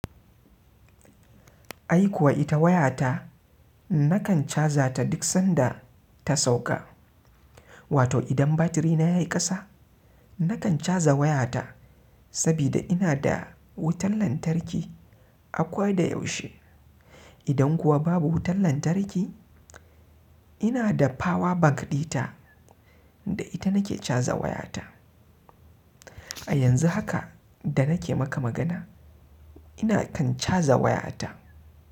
Ai kuwa ita waya ta nakan caja ta duk sanda ta sauka. Wato idan batiri na ya yi ƙasa, nakan caja wayata saboda ina da wutan lantarki akwai da yaushe. Idan kuwa babu wutan lantarki, ina da power bank ɗita da ita nake caja wayata. A yanzu haka da nake maka magana, ina kan caja wayata.